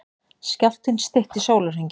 Skjálftinn stytti sólarhringinn